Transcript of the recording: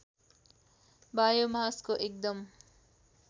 बायोमासको एकदम